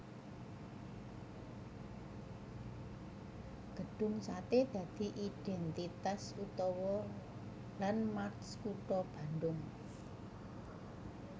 Gedhung Satè dadi idèntitas utawa landmark kutha Bandung